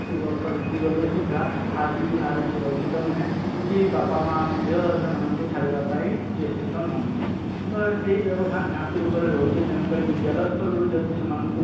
ଅଶୀ ବର୍ଷ ବିତିଗଲେ ସୁଦ୍ଧା ଆଜି ବି ନାରୀ ସୁରକ୍ଷିତ ନୁହେଁ କି ବାପା ମାଆ ମଧ୍ୟ ସେମାନଙ୍କୁ ଛାଡିବା ପାଇଁ ଚେଷ୍ଟିତ ନୁହନ୍ତି ତ ଏଇ ବ୍ୟବଧାନ ନିହାତି ରୂପରେ ରହିଛି ତେଣୁ କରି ବିଦ୍ୟାଳୟ ସ୍ତରରୁ ଯଦି ସେମାନଙ୍କୁ